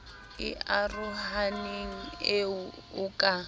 e arohaneng eo o ka